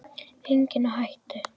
Enginn á hættu.